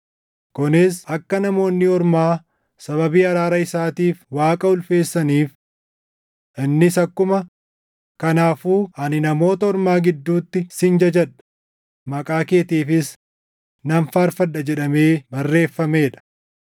kunis akka Namoonni Ormaa sababii araara isaatiif Waaqa ulfeessaniif. Innis akkuma, “Kanaafuu ani Namoota Ormaa gidduutti sin jajadha; maqaa keetiifis nan faarfadha” + 15:9 \+xt 2Sm 22:50; Far 18:49\+xt* jedhamee barreeffamee dha.